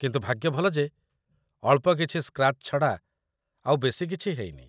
କିନ୍ତୁ ଭାଗ୍ୟ ଭଲ ଯେ, ଅଳ୍ପ କିଛି ସ୍କ୍ରାଚ୍ ଛଡ଼ା ଆଉ ବେଶି କିଛି ହେଇନି ।